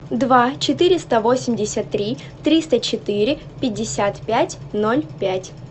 два четыреста восемьдесят три триста четыре пятьдесят пять ноль пять